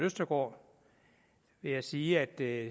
østergaard vil jeg sige at det